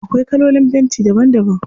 Akwai kalolin fenti daban daban.